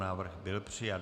Návrh byl přijat.